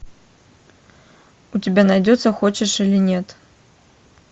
у тебя найдется хочешь или нет